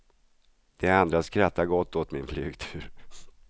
De andra skrattar gott åt min flygtur.